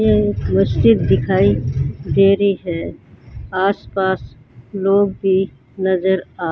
यह एक मस्जिद दिखाई दे रही है आसपास लोग भी नजर आ --